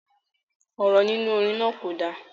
Ọ̀rọ̀ nínú orin náà kò dá